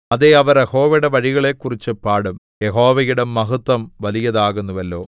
അതേ അവർ യഹോവയുടെ വഴികളെക്കുറിച്ചു പാടും യഹോവയുടെ മഹത്ത്വം വലിയതാകുന്നുവല്ലോ